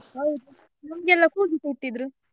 ಹೌದು ನಮ್ಗೆಲ್ಲ ಕೂಗಿಸಿಟ್ಟಿದ್ರು.